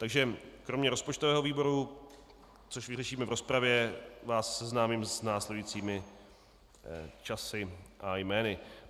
Takže kromě rozpočtového výboru, což vyřešíme v rozpravě, vás seznámím s následujícími časy a jmény.